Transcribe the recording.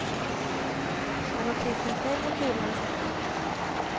Men orkestern själv har kul när det svänger.